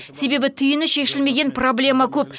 себебі түйіні шешілмеген проблема көп